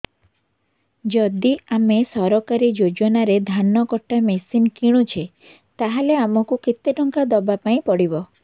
ଯଦି ଆମେ ସରକାରୀ ଯୋଜନାରେ ଧାନ କଟା ମେସିନ୍ କିଣୁଛେ ତାହାଲେ ଆମକୁ କେତେ ଟଙ୍କା ଦବାପାଇଁ ପଡିବ